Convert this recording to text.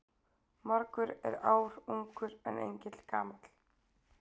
Margur er ár ungur en engill gamall.